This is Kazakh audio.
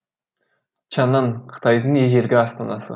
чаңан қытайдың ежелгі астанасы